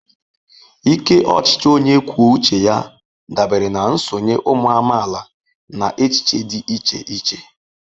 Ike ochichi onye kwuo uche ya dabere na nsonye ụmụ amaala na echiche dị iche iche.